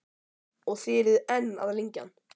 Og þið eruð enn að lengja hann?